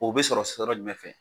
O be sɔrɔ sɔrɔ jumɛn fɛ ?